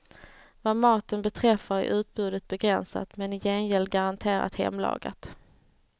Vad maten beträffar är utbudet begränsat, men i gengäld garanterat hemlagat.